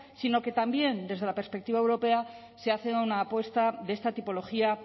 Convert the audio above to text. sino que también desde la perspectiva europea se hace una apuesta de esta tipología